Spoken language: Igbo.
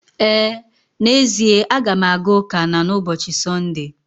Ee, n'ezie a ga m aga ụka na n'ụbọchị Sọnde.